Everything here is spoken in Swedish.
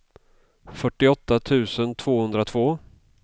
fyrtioåtta tusen tvåhundratvå